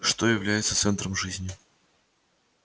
что является центром жизни